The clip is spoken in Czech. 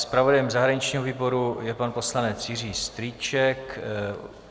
Zpravodajem zahraničního výboru je pan poslanec Jiří Strýček.